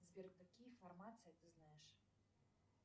сбер какие формации ты знаешь